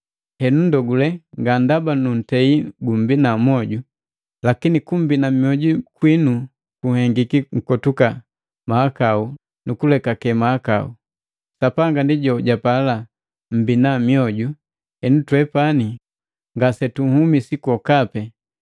Henu ndogule, nga ndaba nuntei gumbina moju, lakini kumbina mioju kwinu kuhengiki nkotuka mahakau nukulekake mahakau. Sapanga ndi jojapala mmbina mioju henu twepani ngasetuhumisi kwa lokapi.